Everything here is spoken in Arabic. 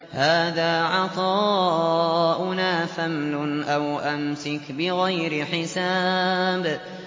هَٰذَا عَطَاؤُنَا فَامْنُنْ أَوْ أَمْسِكْ بِغَيْرِ حِسَابٍ